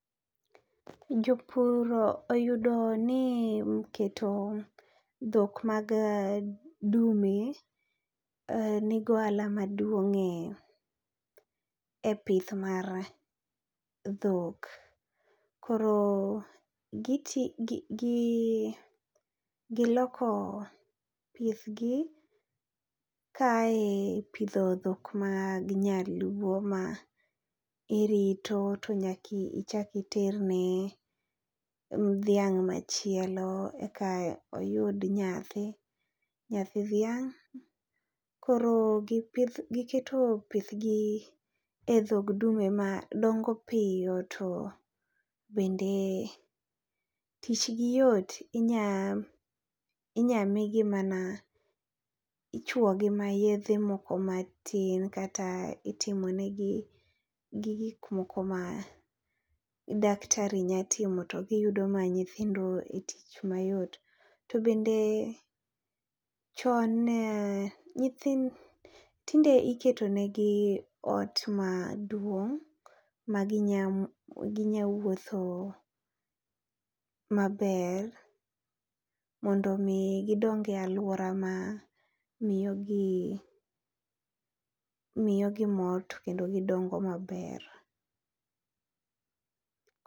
Jopur oyudo ni keto dhok mag dume e ni gi ohala maduong e pith mare dhok koro gi tiyo gi loko puoth gi ka ae e pidho dhok mag nyaluo ma irito to nyaka ichak iter ne dhiang machielo eka oyud nyathi , nyathi dhiang .Koro gi keto pith gi e dhog dume ma dongo piyo to bende tich gi yot inya inya mi gi mana, ichuogi mana yedhe moko ma tin kata itimo ne gi gik moko ma daktari nya timo to gi yudo ma nyithindo e tich ma yot. To bende chon ne nyithi tinde iketo ne gi ot maduong ma gi nya gi nya wuotho ma ber mondo mi gi dong e aluora ma miyo gi miyo gi mor to kendo gi dongo ma ber.